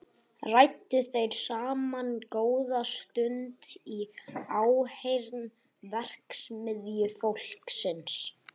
Ræddu þeir saman góða stund í áheyrn verksmiðjufólksins.